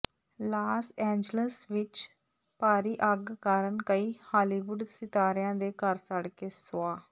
Las Angeles ਵਿੱਚ ਭਾਰੀ ਅੱਗ ਕਾਰਨ ਕਈ ਹਾਲੀਵੁੱਡ ਸਿਤਾਰਿਆਂ ਦੇ ਘਰ ਸੜ ਕੇ ਸੁਆਹ